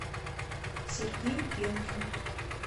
сергей пенкин